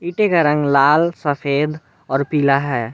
रंग लाल सफेद और पीला है।